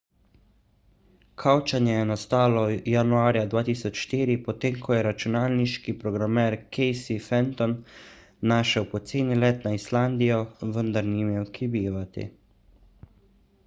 kavčanje je nastalo januarja 2004 potem ko je računalniški programer casey fenton našel poceni let na islandijo vendar ni imel kje bivati